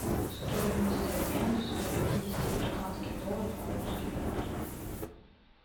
стоимость обмена ста пятидесяти американских долларов на русские рубли